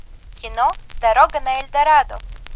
кино дорога на эльдорадо